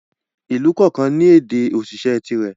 Ìlú kọ̀ọ̀kan ní ède òṣìṣẹ́ tìrẹ.